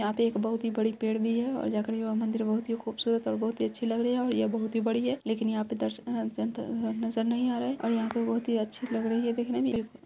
यहाँ पे एक बोहोत ही बड़ी पेड़ भी है और मंदिर बोहोत ही खूबसूरत और बोहोत ही अच्छे लग रहे| ये बोहोत ही बड़ी हैं लेकिन यहाँ पे दर्शक नजर नहीं आ रहा है और यहाँ पे बोहोत अच्छी लग रही दिखने में।